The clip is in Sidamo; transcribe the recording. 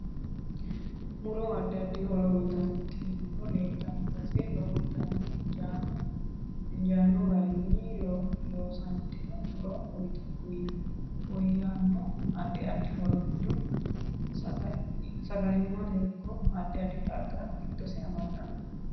Muro addi addi horo uyiitanno tini muro leeltanno base lowontanni injaano garinni loosantino muro uyiiyanno addi addi horo giddo sagalimatte ikko addi addi xagga giddose amaddanno